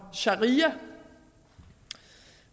sharia